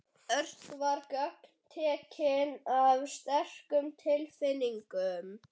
Örn var gagntekinn af sterkum tilfinningum.